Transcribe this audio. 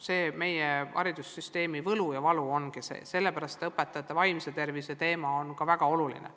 See meie haridussüsteemi võlu ja valu ongi ning sellepärast on õpetajate vaimse tervise teema ka väga oluline.